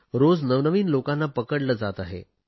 रोज नवनवीन लोकांना पकडले जात आहे